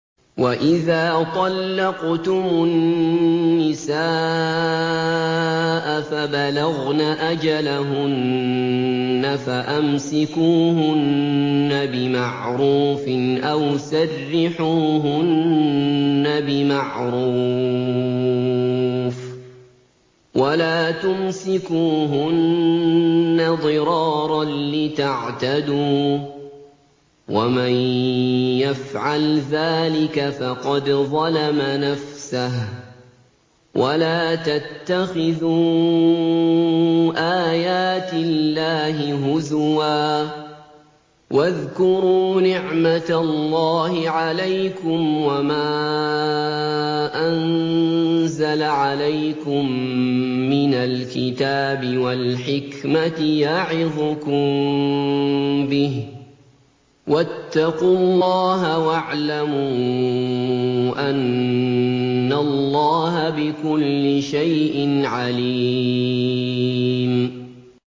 وَإِذَا طَلَّقْتُمُ النِّسَاءَ فَبَلَغْنَ أَجَلَهُنَّ فَأَمْسِكُوهُنَّ بِمَعْرُوفٍ أَوْ سَرِّحُوهُنَّ بِمَعْرُوفٍ ۚ وَلَا تُمْسِكُوهُنَّ ضِرَارًا لِّتَعْتَدُوا ۚ وَمَن يَفْعَلْ ذَٰلِكَ فَقَدْ ظَلَمَ نَفْسَهُ ۚ وَلَا تَتَّخِذُوا آيَاتِ اللَّهِ هُزُوًا ۚ وَاذْكُرُوا نِعْمَتَ اللَّهِ عَلَيْكُمْ وَمَا أَنزَلَ عَلَيْكُم مِّنَ الْكِتَابِ وَالْحِكْمَةِ يَعِظُكُم بِهِ ۚ وَاتَّقُوا اللَّهَ وَاعْلَمُوا أَنَّ اللَّهَ بِكُلِّ شَيْءٍ عَلِيمٌ